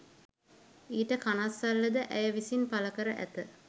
ඊට කනස්සල්ලද ඇය විසින් පළකර ඇත